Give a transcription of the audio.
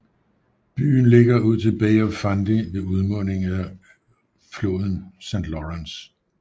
Byen ligger ud til Bay of Fundy ved udmundingen af floden St